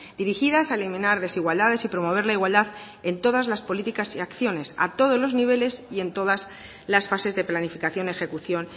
dirigidas a eliminar desigualdades y promover la igualdad en todas las políticas y acciones a todos los niveles y en todas las fases de planificación ejecución